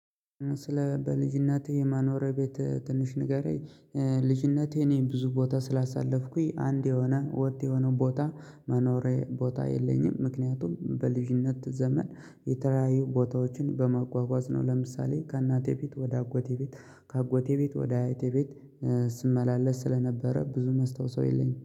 ስለ በልጅነቴ የማኖረያ ቤት ትንሽ ንገረኝ? ልጅነቴ እኔን ብዙ ቦታ ስላሳለፍኩኝ አንድ የሆነ ወጥ የሆነ ቦታ መኖሬ ቦታ የለኝም። ምክንያቱም በልጅነት ዘመን የተለያዩ ቦታዎችን በመጓጓዝ ነው። ለምሳሌ ከእናቴ ቤት ወደ አጎቴ ቤት ከአጎቴ ቤት ወደ አይቴ ቤት ስመላለስ ስለነበረ ብዙ መስታዉሰው የለኝም